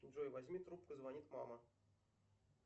джой возьми трубку звонит мама